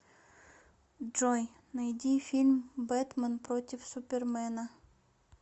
джой найди фильм бэтмэн против супермэна